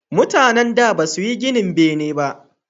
Mutanen da ba suyi ginin bene ba